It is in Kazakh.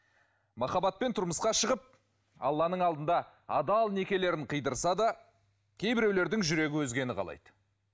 махаббатпен тұрмысқа шығып алланың алдында адал некелерін қидырса да кейбіреулердің жүрегі өзгені қалайды